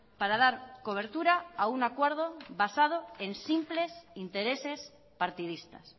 para dar cobertura a un acuerdo basado en simples intereses partidistas